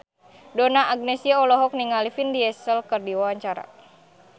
Donna Agnesia olohok ningali Vin Diesel keur diwawancara